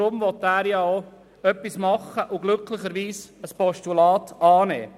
Deshalb will er auch etwas unternehmen und glücklicherweise ein Postulat annehmen.